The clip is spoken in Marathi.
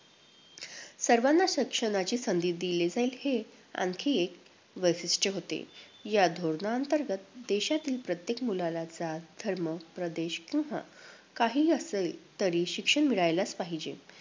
सर्वांना शिक्षणाची संधी दिली जाईल, हे आणखी एक वैशिष्ट्य होते. या धोरणाअंतर्गत देशातील प्रत्येक मुलाला जात, धर्म, प्रदेश किंवा काहीही असले तरीही शिक्षण मिळालेच पाहिजे